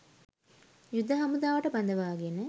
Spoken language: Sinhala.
යුද හමුදාවට බඳවාගෙන